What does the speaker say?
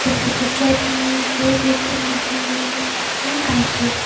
जैसे की ट्रेडमिल मे वेट लिफ्टिंग मशीने और ।